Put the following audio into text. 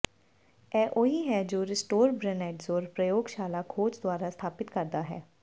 ਇਹ ਉਹੀ ਹੈ ਜੋ ਰਿਸੋਟਰਬੇਨੈਡਜ਼ੋਰ ਪ੍ਰਯੋਗਸ਼ਾਲਾ ਖੋਜ ਦੁਆਰਾ ਸਥਾਪਿਤ ਕਰਦਾ ਹੈ